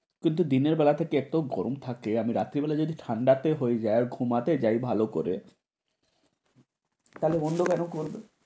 কিন্তু দিনের বেলা একটু গরম থাকে, আমি রাতের বেলায় যদি ঠান্ডা তে হয়ে যায় ঘুমাতে যাই ভালো করে থালে বন্ধ কেন করবে।